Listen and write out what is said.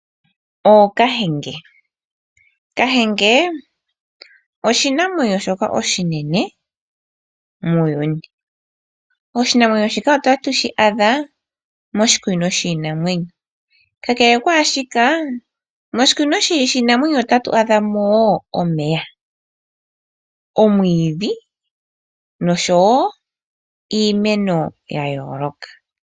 Ookahenge. Kahenge oshinamwenyo shoka oshinene muuyuni. Oshinamwenyo shika otatu shi adha moshikunino shiinamwenyo. Kakele kwaashika moshikunino shiinamwenyo otatu adha mo omeya, omwiidhi nosho wo iimeno ya yooloka.